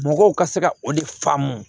Mɔgɔw ka se ka o de faamu